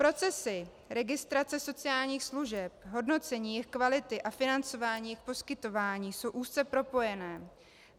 Procesy registrace sociálních služeb, hodnocení jejich kvality a financování jejich poskytování jsou úzce propojené.